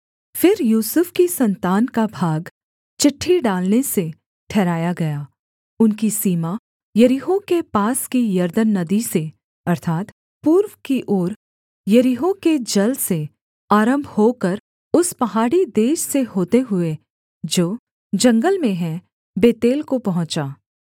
फिर यूसुफ की सन्तान का भाग चिट्ठी डालने से ठहराया गया उनकी सीमा यरीहो के पास की यरदन नदी से अर्थात् पूर्व की ओर यरीहो के जल से आरम्भ होकर उस पहाड़ी देश से होते हुए जो जंगल में हैं बेतेल को पहुँचा